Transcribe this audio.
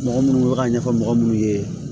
Mɔgɔ munnu bɛ ka ɲɛfɔ mɔgɔ munnu ye